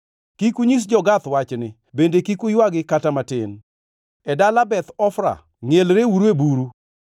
Kik unyis jo-Gath wachni bende kik uywagi kata matin. E dala Beth Ofra ngʼielreuru e buru.